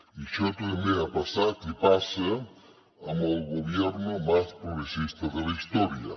i això també ha passat i passa amb el gobierno más progresista de la historia